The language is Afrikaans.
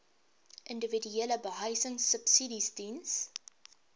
individuele behuisingsubsidies diens